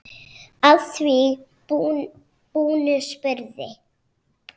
Að því búnu spurði